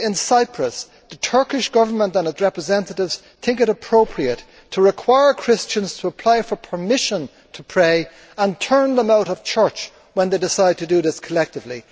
Yet in Cyprus, the Turkish Government and its representatives think it appropriate to require Christians to apply for permission to pray and turn them out of church when they decide to do this collectively.